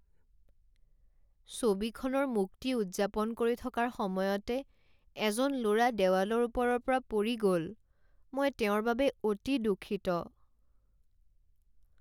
ছবিখনৰ মুক্তি উদযাপন কৰি থকাৰ সময়তে এজন ল'ৰা দেৱালৰ ওপৰৰ পৰা পৰি গ'ল। মই তেওঁৰ বাবে অতি দুঃখিত।